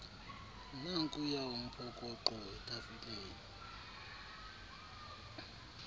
nankuya umphokoqo etafileni